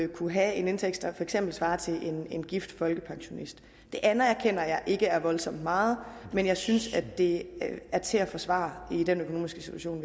kunne have en indtægt der for eksempel svarer til en en gift folkepensionists det anerkender jeg ikke er voldsomt meget men jeg synes at det er til at forsvare i den økonomiske situation